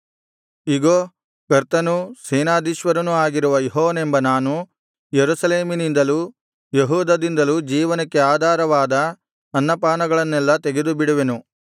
ಇಗೋ ಕರ್ತನೂ ಸೇನಾಧೀಶ್ವರನೂ ಆಗಿರುವ ಯೆಹೋವನೆಂಬ ನಾನು ಯೆರೂಸಲೇಮಿನಿಂದಲೂ ಯೆಹೂದದಿಂದಲೂ ಜೀವನಕ್ಕೆ ಆಧಾರವಾದ ಅನ್ನಪಾನಗಳನ್ನೆಲ್ಲಾ ತೆಗೆದುಬಿಡುವೆನು